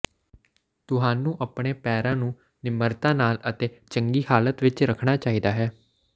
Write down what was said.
ਤੁਹਾਨੂੰ ਆਪਣੇ ਪੈਰਾਂ ਨੂੰ ਨਿਮਰਤਾ ਨਾਲ ਅਤੇ ਚੰਗੀ ਹਾਲਤ ਵਿਚ ਰੱਖਣਾ ਚਾਹੀਦਾ ਹੈ